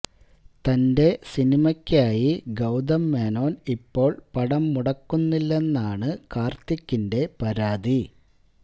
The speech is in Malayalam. തന്റെ സിനിമയ്ക്കായി ഗൌതം മേനോന് ഇപ്പോള് പണം മുടക്കുന്നില്ലെന്നാണ് കാര്ത്തികിന്റെ പരാതി